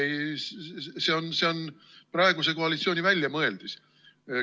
See on praeguse koalitsiooni väljamõeldis.